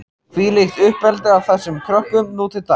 Hvílíkt uppeldi á þessum krökkum nú til dags!